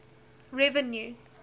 revenue